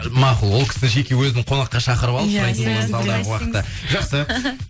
мақұл ол кісі жеке өзін қонаққа шақырып алып сұрайтын боламыз алдағы уақытта жақсы